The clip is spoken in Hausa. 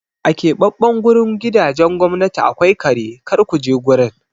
A keɓaɓɓen gurin gidajen gwamnati akwai kare, kar ku je gurin!